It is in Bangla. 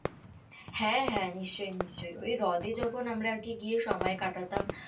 হ্যাঁ হ্যাঁ, নিশ্চই নিশ্চই ওই হ্রদে যখন আমরা আর কি গিয়ে সময় কাটাতাম,